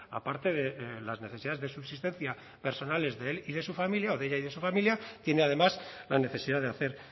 aparte de las necesidades de subsistencia personales de él y de su familia o de ella y de su familia tiene además la necesidad de hacer